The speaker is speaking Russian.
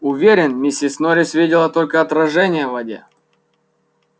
уверен миссис норрис видела только отражение в воде